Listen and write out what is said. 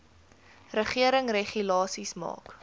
regering regulasies maak